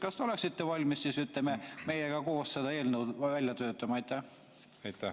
Kas te oleksite valmis meiega koos sellise eelnõu välja töötama?